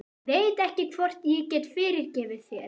Ég veit ekki hvort ég get fyrirgefið þér.